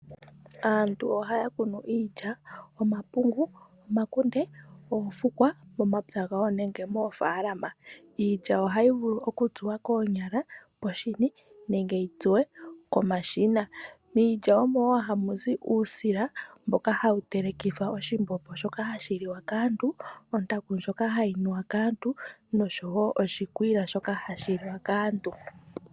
Aantu ohaya kunu iilya, omapungu, omakunde noofukwa momapya gawo nenge moofaalama. Iilya ohayi vulu okutsuwa koonyala poshini nenge yi tsuwe komashina. Miilya omo wo hamu zi uusila mboka hawu telekithwa oshimbombo shoka hashi liwa kaantu, ontaku ndjoka hayi nuwa kaantu noshowo oshikwiila shoka hashi liwa kaantu.